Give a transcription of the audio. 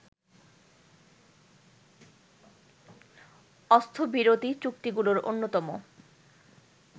অস্ত্রবিরতি চুক্তিগুলোর অন্যতম